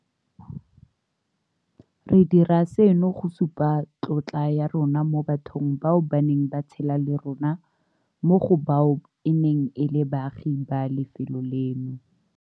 Re dira seno go supa tlotla ya rona mo bathong bao ba neng ba tshela le rona, mo go bao e neng e le baagi ba lefelo leno.